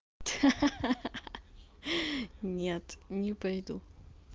ха-ха нет не пойду